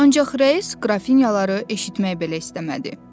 Ancaq rəis qrafinyaları eşitmək belə istəmədi.